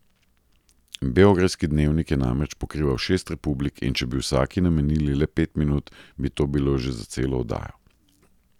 Beograjski Dnevnik je namreč pokrival šest republik in če bi vsaki namenili le pet minut, bi to bilo že za celo oddajo.